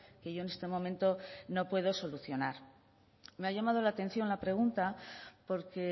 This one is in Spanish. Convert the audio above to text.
que yo en este momento no puedo solucionar me ha llamado la atención la pregunta porque